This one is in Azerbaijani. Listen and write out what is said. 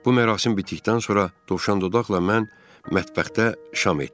Bu mərasim bitdikdən sonra dovşandodaqla mən mətbəxdə şam etdik.